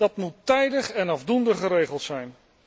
Dat moet tijdig en afdoende geregeld zijn.